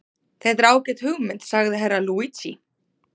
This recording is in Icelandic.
Þetta er ágæt hugmynd, sagði Herra Luigi.